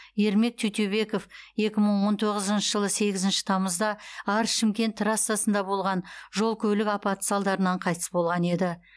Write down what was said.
ермек тютюбеков екі мың он тоғызыншы жылы сегізінші тамызда арыс шымкент трассасында болған жол көлік апаты салдарынан қайтыс болған еді